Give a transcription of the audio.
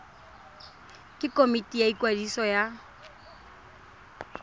ke komiti ya ikwadiso ya